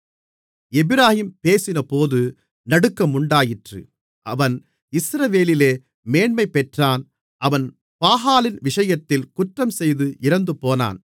எப்பிராயீம் பேசினபோது நடுக்கமுண்டாயிற்று அவன் இஸ்ரவேலிலே மேன்மைபெற்றான் அவன் பாகாலின் விஷயத்தில் குற்றம் செய்து இறந்துபோனான்